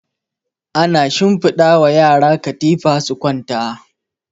ana shinfiɗa wa yara katifa su kwanta